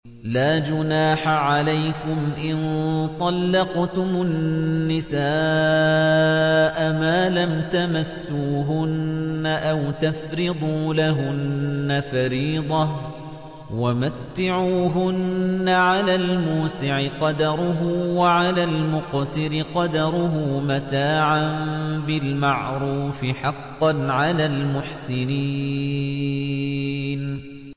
لَّا جُنَاحَ عَلَيْكُمْ إِن طَلَّقْتُمُ النِّسَاءَ مَا لَمْ تَمَسُّوهُنَّ أَوْ تَفْرِضُوا لَهُنَّ فَرِيضَةً ۚ وَمَتِّعُوهُنَّ عَلَى الْمُوسِعِ قَدَرُهُ وَعَلَى الْمُقْتِرِ قَدَرُهُ مَتَاعًا بِالْمَعْرُوفِ ۖ حَقًّا عَلَى الْمُحْسِنِينَ